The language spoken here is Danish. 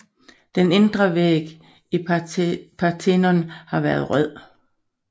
Den indre væg i Parthenon har været rød